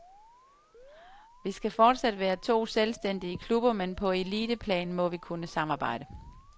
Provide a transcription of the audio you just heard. Vi skal forsat være to selvstændige klubber, men på eliteplan må vi kunne samarbejde.